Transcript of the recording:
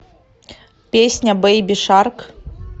песня бейби шарк